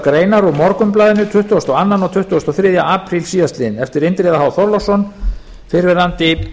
greinar úr morgunblaðinu tuttugasta og öðrum og tuttugasta og þriðja apríl síðastliðinn eftir indriða h þorláksson fyrrverandi